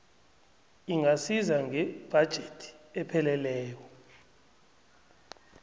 ingasiza ngebhajethi epheleleko